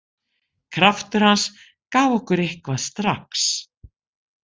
Kraftur hans gaf okkur eitthvað strax.